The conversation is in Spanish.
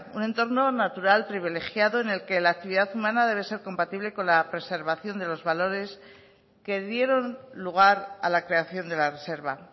un entorno natural privilegiado en el que la actividad humana debe ser compatible con la preservación de los valores que dieron lugar a la creación de la reserva